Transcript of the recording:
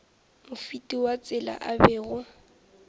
mofeti wa tsela a bego